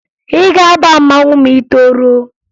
Ị ga-aba mmanwụ ma ị toruo!